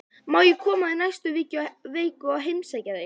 Má ég koma í næstu viku og heimsækja þig?